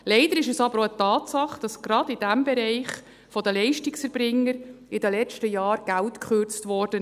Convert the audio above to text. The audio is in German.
Leider ist es aber auch eine Tatsache, dass in den letzten Jahren gerade in diesem Bereich von den Leistungserbringern Geld gekürzt wurde.